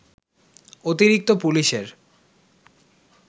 অতিরিক্ত পুলিশের